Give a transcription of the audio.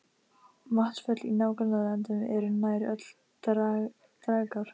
Vatnsföll í nágrannalöndunum eru nær öll dragár.